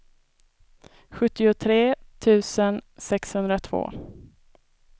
sjuttiotre tusen sexhundratvå